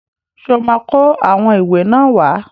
Ṣó máa kó àwọn ìwé náà wá?